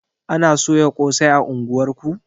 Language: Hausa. Ana soya ƙosai a unguwar ku?